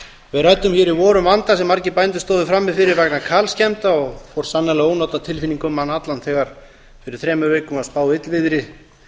við ræddum hér í vor um vanda sem margir bændur stóðu frammi fyrir vegna kalskemmda og fór sannarlega ónotatilfinning um mann allan þegar fyrir þremur vikum var spáð illviðri